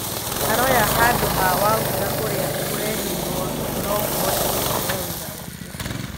Aroya handũha Wagura ũrĩa ũreherirwo na no kũhoteke aheo wĩra ũngĩ.